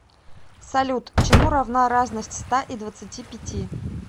салют чему равна разность ста и двадцати пяти